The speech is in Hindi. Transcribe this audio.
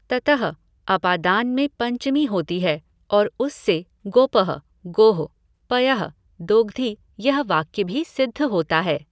ततः अपादान में पञ्चमी होती है और उससे गोपः गोः पयः दोग्धि यह वाक्य भी सिद्ध होता है।